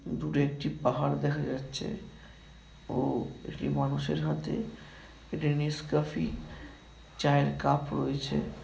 দূরে একটি পাহাড় দেখা যাচ্ছে ও একটি মানুষের হাতে একটি নেসক্যাফে চায়ের কাপ রয়েছে।